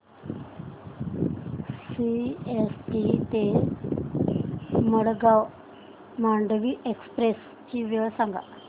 CST ते Madgaon Mandovi express ची वेळ सांगा